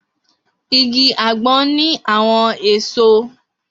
Igi agbon ni awọn eso.